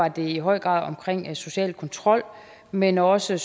i høj grad omkring social kontrol men også